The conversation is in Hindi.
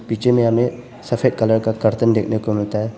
पीछे में हमें सफेद कलर का कर्टन देखने को मिलता है।